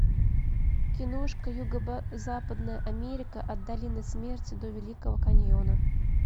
киношка юго западная америка от долины смерти до великого каньона